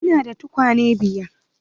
Ina da tukwane biyar.